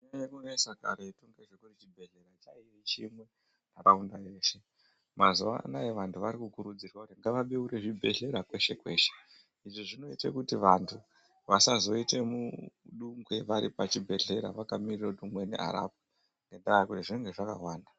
Zvainyanya kunesa karetu ngekuti chibhehlera chainge chimwe ntaraunda yeshe. Mazuva anaya vantu varikukurudzirwa kuti ngavabeure zvibhedhleya kweshe-kweshe. Izvi zvinoite kuti vantu vasazoite mudungwe varipachibhehlera vakamirire kuti umweni arapwe, ngendaa yekuti zvinenge zvakawanda.